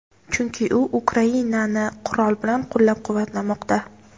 chunki u Ukrainani qurol bilan qo‘llab-quvvatlamoqda.